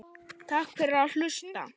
Takk fyrir að hlusta.